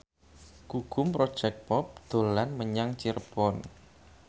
Gugum Project Pop dolan menyang Cirebon